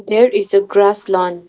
There is a grass land .